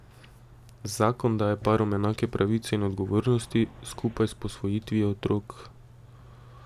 Zakon daje parom enake pravice in odgovornosti, skupaj s posvojitvijo otrok.